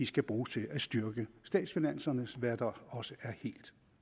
skal bruges til at styrke statsfinanserne hvad der også er helt